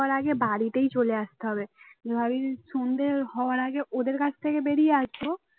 হওয়ার আগে বাড়িতেই চলে আসতে হবে ভাবি সন্ধ্যে হওয়ার আগে ওদের কাছ থেকে বেরিয়ে আসবো